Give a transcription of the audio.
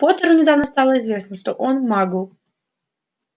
поттеру недавно стало известно что он магл